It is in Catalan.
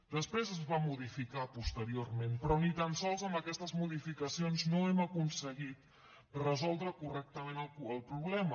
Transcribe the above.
després es va modificar posteriorment però ni tan sols amb aquestes modificacions no hem aconseguit resoldre correctament el problema